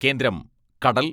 കേന്ദ്രം കടൽ